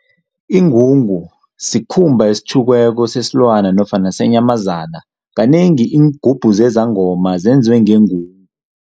Ingungu sikhumba esitjhukiweko sesilwana nofana senyamazana, kanengi iingubhu zezangoma zenziwe ngengungu.